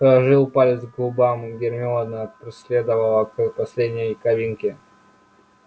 приложив палец к губам гермиона проследовала к последней кабинке